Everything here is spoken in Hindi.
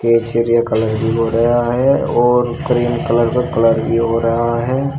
ये सीढ़ियां कलर भी हो रहा है और क्रीम कलर का कलर भी हो रहा है।